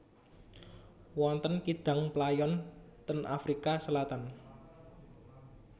Wonten kidang playon ten Afrika Selatan